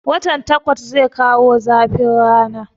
Watan takwas zai kawo zafin rana